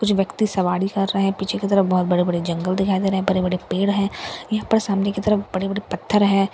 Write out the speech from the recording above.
कुछ व्यक्ति सवारी कर रहे हैं पीछे की तरफ बहोत बड़े-बड़े जंगल दिखाई दे रहे हैं बड़े-बड़े पेड़ हैं यहां पर सामने की तरफ बड़े-बड़े पत्थर है।